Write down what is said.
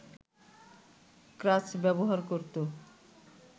ক্রাচ ব্যবহার করত